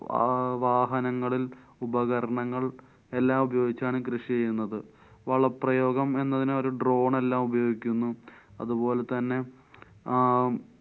അഹ് വാഹനങ്ങളില്‍ ഉപകരണങ്ങള്‍ എല്ലാം ഉപയോഗിച്ചാണ് കൃഷി ചെയ്യുന്നത്. വളപ്രയോഗം എന്നതിന് അവര്‍ drone എല്ലാം ഉപയോഗിക്കുന്നു. അതുപോലെതന്നെ ആം~